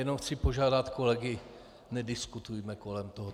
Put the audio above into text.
Jenom chci požádat kolegy: Nediskutujme kolem toho.